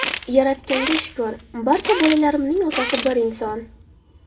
Yaratganga shukr, barcha bolalarimning otasi bir inson.